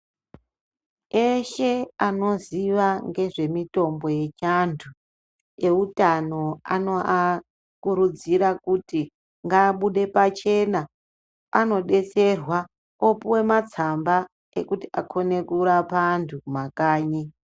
Eshe anoziva ngezvemitombo yechiantu eutano anoakurudzira kuti ngaabude pachena anodetserwa opuwe matsamba ekuti akone kurapa antu kumakanyi.